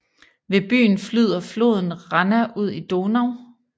Ved byen flyder floden Ranna ud i Donau